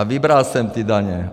A vybral jsem ty daně.